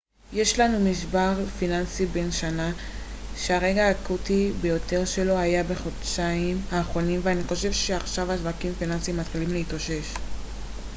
יש לנו משבר פיננסי בן שנה שהרגע האקוטי ביותר שלו היה בחודשיים האחרונים ואני חושב שעכשיו השווקים הפיננסיים מתחילים להתאושש